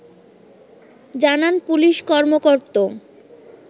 জানান পুলিশ কর্মকর্ত